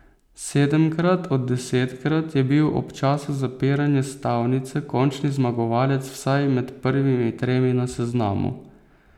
Sedemkrat od desetkrat je bil ob času zapiranja stavnice končni zmagovalec vsaj med prvimi tremi na seznamu.